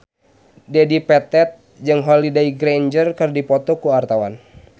Dedi Petet jeung Holliday Grainger keur dipoto ku wartawan